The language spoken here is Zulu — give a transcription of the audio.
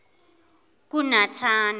kunatana